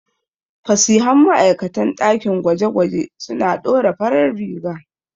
Fasihan ma'aikatan ɗakin gwaje-gwaje suna ɗora farar riga.